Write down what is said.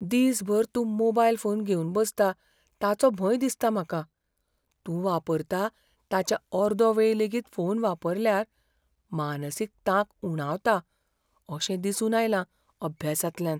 दिसभर तूं तो मोबायल फोन घेवन बसता ताचो भंय दिसता म्हाका. तूं वापरता ताच्या अर्दो वेळ लेगीत फोन वापरल्यार मानसीक तांक उणावता अशें दिसून आयलां अभ्यासांतल्यान.